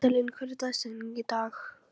Íselín, hver er dagsetningin í dag?